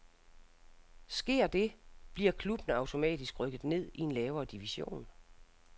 Sker det, bliver klubben automatisk rykket ned i en lavere division.